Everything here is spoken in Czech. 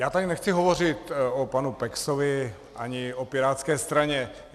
Já tady nechci hovořit o panu Peksovi ani o Pirátské straně.